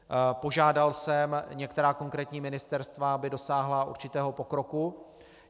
Požádal jsem některá konkrétní ministerstva, aby dosáhla určitého pokroku.